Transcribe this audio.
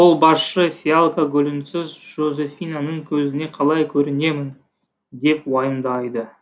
қолбасшы фиалка гүлінсіз жозефинаның көзіне қалай көрінемін деп уайымдайды